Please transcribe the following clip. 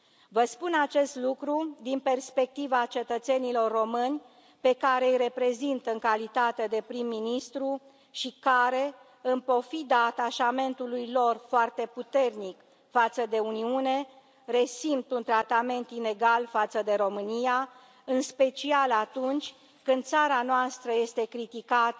Vă spun acest lucru din perspectiva cetățenilor români, pe care îi reprezint în calitate de prim ministru și care, în pofida atașamentului lor foarte puternic față de Uniune, resimt un tratament inegal față de România, în special atunci când țara noastră este criticată